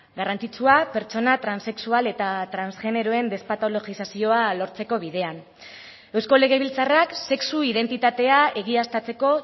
garrantzitsua pertsona transexual eta transgeneroen despatologizazioa lortzeko bidean eusko legebiltzarrak sexu identitatea egiaztatzeko